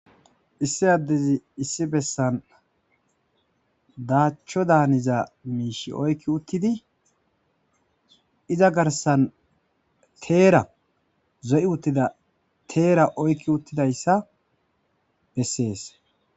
Issi addezi issi bessan daacho daaniza miishi oykki uttidi iza garssan teera zo7i utida teera oykki uttidayssa besees.